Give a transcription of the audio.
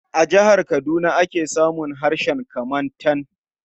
A jihar Kaduna ake samun harshen Kamantan.